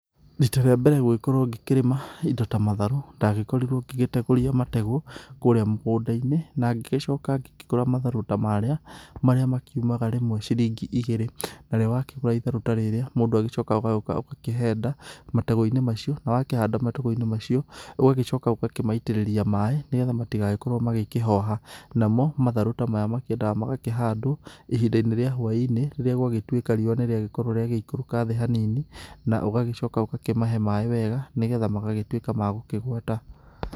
Rita rĩa mbere gũgĩkorwo ngikĩrĩma indo ta matharũ ndagĩkorirwo ngĩgĩtegũria mategũ kũrĩa mũgũnda-inĩ. Na ngĩgĩcoka ngĩkĩgũra matharũ ta marĩa, marĩa makiumaga rĩmwe ciringi igĩrĩ. Narĩo wakĩgũra itharũ ta rĩrĩa mũndũ agĩcokaga ũgagĩũka ũgakĩhanda mategũ-inĩ macio. Na wakĩhanda mategũ-inĩ macio ũgagĩcoka ũgakĩmaitĩrĩria maaĩ nĩ getha matigagĩkorwo magĩkĩhoha. Namo matharũ ta maya makĩendaga magakĩhandwo ihinda-inĩ rĩa hwa-inĩ rĩrĩa gwagĩtuĩka riũa nĩ rĩagĩkorwo nĩria gĩikũrũka thĩ hanini. Na ũgĩcoka ũgakĩmahe maaĩ wega nĩ getha magagĩtuĩka magũkĩgwata.